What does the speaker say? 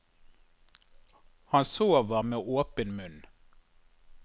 Han sover med åpen munn.